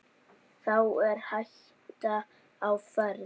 Þá er hætta á ferð.